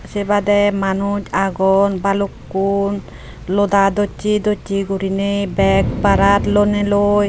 Se bade Manuj agon balukkun loda dosse dosse gurine bag barat lonay loi.